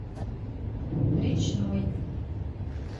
речной